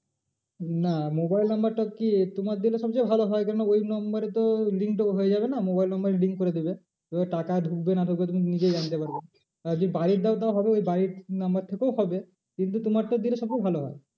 না mobile number টা কি তোমার দিলে সব চেয়ে ভালো হয় কেন ওই number এ তো link টা হয়ে যাবে না mobile number এ link করে দেবে। এবার টাকা ঢুকবে কি না ঢুকবে তুমি নিজে জানতে পারবে। আর যদি বাড়ির দাও তাও হবে ওই বাড়ির number থেকেও হবে। কিন্তু তোমারটা দিলে সব চেয়ে ভালো হয়।